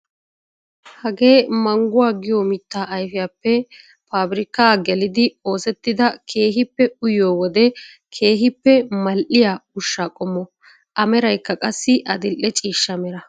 Hagee mangguwaa giyoo mittaa ayfiyaappe pabirkkaa gelidi oosettida keehippe uyiyoo wode keehippe mal"iyaa ushshaa qommo. A meraykka qassi adil"e ciishsha mera.